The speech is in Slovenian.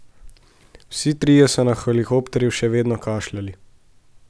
Vsi trije so na helikopterju še vedno kašljali.